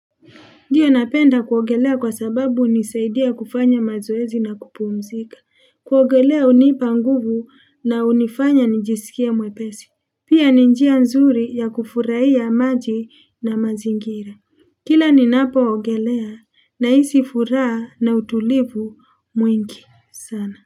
Ndiyo napenda kuogelea kwa sababu hunisaidia kufanya mazoezi na kupumzika. Kuogelea hunipa nguvu na hunifanya nijisikie mwepesi. Pia ni njia nzuri ya kufuraia maji na mazingira. Kila ninapoogelea naisi furaa na utulivu mwingi sana.